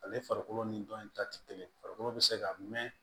Ale farikolo ni dɔn in ta tɛ kelen farikolo be se ka mɛn